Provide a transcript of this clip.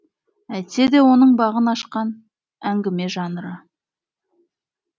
әйтсе де оның бағын ашқан әңгіме жанры